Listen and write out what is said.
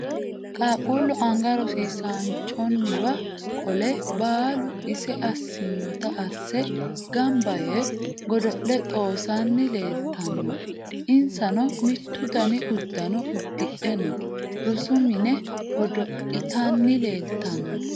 Qaaqquullu anga rosiisaanchonniwa qole baalu ise assinota asse Gamba Yee godo'le dhoossanni leeltanno. Insano mittu Dani uddanna uddidhe no. Rosu mine godo'litanni leeltanno.